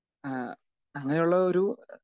speaker 2 ഏഹ് അങ്ങനെയുള്ള ഒരു